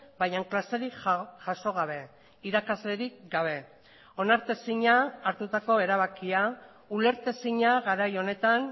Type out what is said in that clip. baina klaserik jaso gabe irakaslerik gabe onartezina hartutako erabakia ulertezina garai honetan